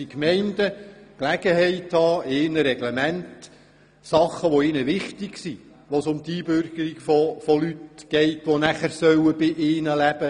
Die Gemeinden müssen die Gelegenheit haben, in ihren Reglementen Dinge festzulegen, bei denen es um die Einbürgerung von Leuten geht, die nachher bei ihnen leben.